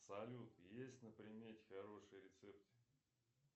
салют есть на примете хорошие рецепты